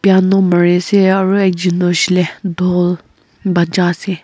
Mari se aru ekjon hoishele dhool bajai se.